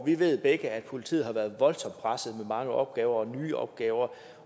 vi ved begge at politiet har været voldsomt presset med mange opgaver og nye opgaver